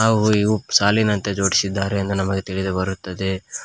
ಹಾಗೂ ಇವು ಸಾಲಿನಂತೆ ಜೋಡ್ಸಿದ್ದಾರೆ ಎಂದು ನಮಗೆ ತಿಳಿದು ಬರುತ್ತದೆ.